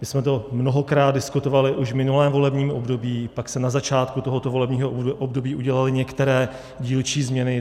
My jsme to mnohokrát diskutovali už v minulém volebním období, pak se na začátku tohoto volebního období udělaly některé dílčí změny.